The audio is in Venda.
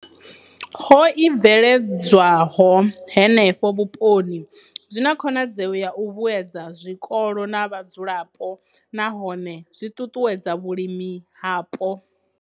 ho i bveledzwaho henefho vhuponi, zwi na khonadzeo ya u vhuedza zwikolo na vhadzulapo nahone zwi ṱuṱuwedza vhulimi hapo.